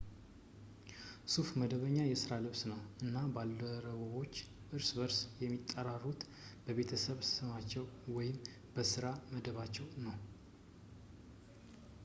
ሱፍ መደበኛ የስራ ልብስ ነው እና ባልደረባዎች እርስ በርስ የሚጠራሩት በቤተሰብ ስሞቻቸው ወይም በስራ መደባቸው ነው